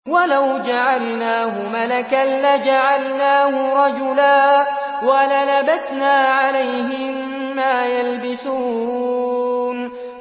وَلَوْ جَعَلْنَاهُ مَلَكًا لَّجَعَلْنَاهُ رَجُلًا وَلَلَبَسْنَا عَلَيْهِم مَّا يَلْبِسُونَ